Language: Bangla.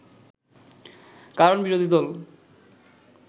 কারণ বিরোধী দল